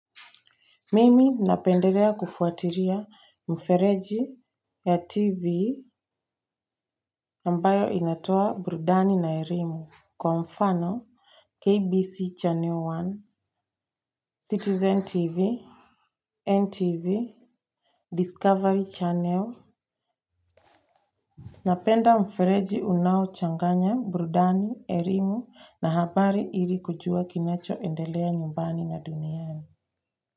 Mimi napendelea kufuatiria mfereji ya TV ambayo inatoa burudani na erimu kwa mfano KBC Channel One, Citizen TV, NTV, Discovery Channel. Napenda mfereji unaochanganya burudani, erimu na habari ili kujua kinachoendelea nyumbani na duniani.